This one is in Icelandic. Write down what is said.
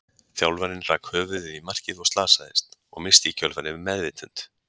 Þjálfarinn rak höfuðið í markið og slasaðist, og missti í kjölfarið meðvitund.